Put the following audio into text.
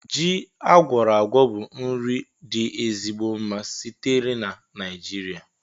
Ji agwora-agwo bụ nri dị ezigbo mma sitere na nijiria